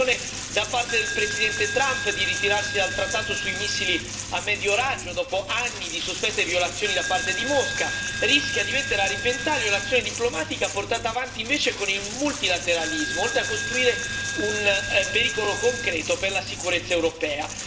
La decisione da parte del Presidente Trump di ritirarsi dal Trattato sui missili a medio raggio, dopo anni di sospette violazioni da parte di Mosca, rischia di mettere a repentaglio l'azione diplomatica portata avanti invece con il multilateralismo, oltre a costituire un pericolo concreto per la sicurezza europea.